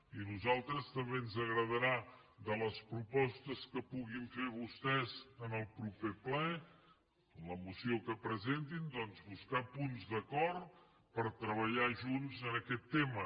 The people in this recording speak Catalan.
i a nosaltres també ens agradarà de les propostes que puguin fer vostès en el proper ple en la moció que presentin doncs buscar punts d’acord per treballar junts en aquest tema